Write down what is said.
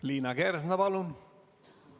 Liina Kersna, palun!